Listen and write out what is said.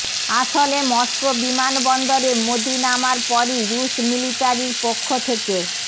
আসলে মস্কো বিমান বন্দরে মোদী নামার পরই রুশ মিলিটারির পক্ষ থেকে